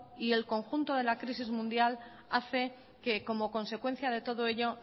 y el conjunto de la crisis mundial hace que como consecuencia de todo ello